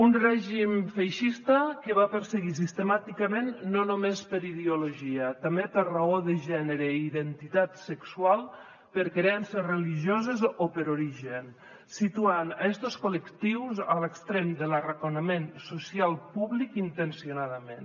un règim feixista que va perseguir sistemàticament no només per ideologia també per raó de gènere i identitat sexual per creences religioses o per origen situant estos col·lectius a l’extrem de l’arraconament social públic intencionadament